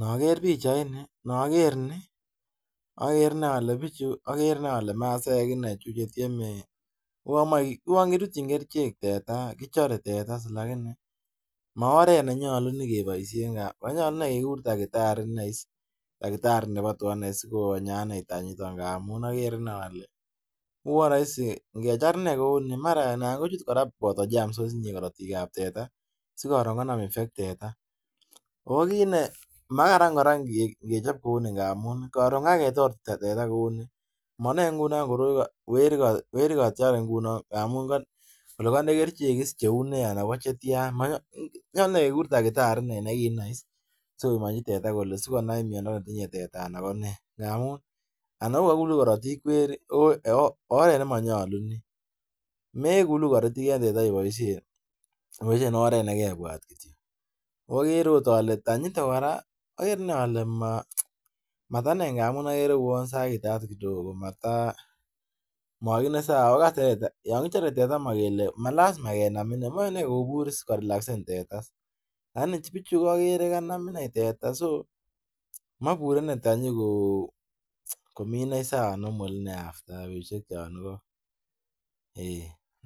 Nager bichait niton nager Ni agere inei Kole bichu agere Kole masaek inei bichuton chetieme akouwon kirutyi kerchek teta kichare teta lakini maoret nenyalu nekibaishen manyalu inei keguren takitari Nebo tuga sikonyaa tenyiton amun agere inei ale uwon rahisi ingechar inei kouni anan kochut kora Bata Germs korotik ab teta sikoton konam effect teta akokit koraa nemakaran kechobbkouni ngamun koron kakechor teta manage ngunon weri kachare ingunon ngamun Kole kande kerchek cheunei anan kochetian nyalu inei kegur takitari nekinai ak nikisomanji teta sikonai miando netinye teta KONE amun anan kokakulu Karatik weri ako oret nemanyalu Ni mekuku Karatik en teta ibaishen oret nekebwat kityo agere okot Kole tenyiton kora agere inei Kole matamine amun agere kouwon sakitat kidogo Mata mamiten sawa yangichare teta komakele malasima kenam ineu kobur korilaksen teta lakini bichu agere kanam inei teta so mabure inei tenyi Kou Komi inei sawa normal